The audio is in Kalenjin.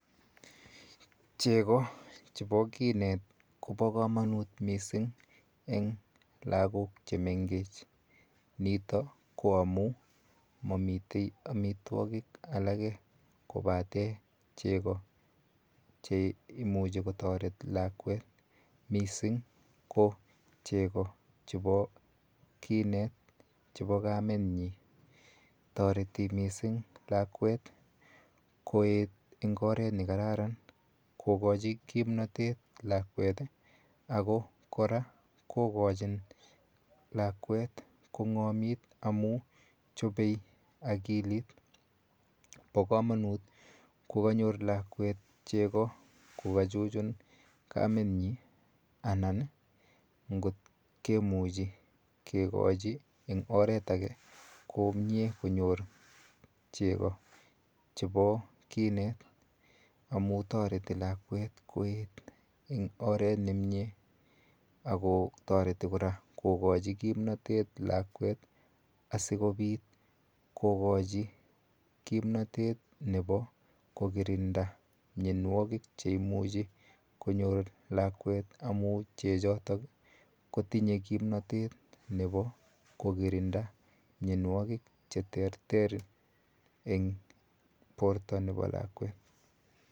Cheko chepo kinet kopo komonut mising eng lakok chemengech nitok ko amun mamitei amitwokik alake kopate cheko cheimuche kotoret lakwet mising ko cheko chepo kinet chepo kametnyi toreti mising lakwet koeet eng oret nekararan kokochi kimnotet lakwet ako kora kokochi lakwet kongomit amu chopei akilit po komonut kokanyor lakwet cheko kokachuchun kamenyi anan ngot kemuchi kekochi ing oret ake komie konyor cheko chepo kinet amun toreti lakwet koet eng oret nemie ako toreti kora kokochi kimnotet lakwet asikopit kokochi kimnotet nepo kokirinda mionwokik cheimuchi konyor lakwet amu chechoto kotinyei kimnotet nepo kokirinda mionwokik che terter eng porto nepo lakwet.